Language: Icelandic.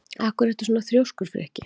Af hverju ertu svona þrjóskur, Frikki?